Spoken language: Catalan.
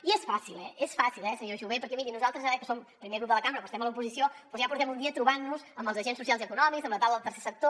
i és fàcil eh és fàcil eh senyor jové perquè miri nosaltres ara que som el primer grup de la cambra però estem a l’oposició doncs ja portem un dia trobant nos amb els agents socials i econòmics amb la taula del tercer sector